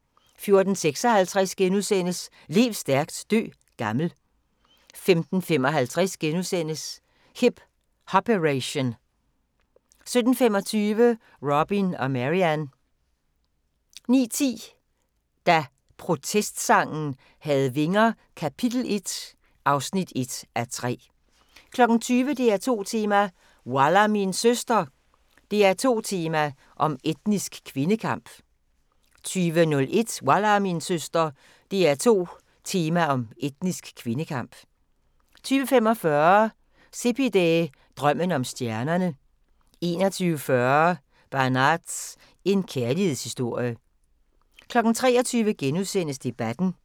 * 14:56: Lev stærkt, dø gammel * 15:55: Hip Hop-Eration * 17:25: Robin og Marian 19:10: Da protestsangen havde vinger - kap. 1 (1:3) 20:00: DR2 Tema: Wallah min søster! – DR2 Tema om etnisk kvindekamp 20:01: Wallah min søster! – DR2 Tema om etnisk kvindekamp 20:45: Sepideh, drømmen om stjernene 21:40: Banaz – en kærlighedshistorie 23:00: Debatten *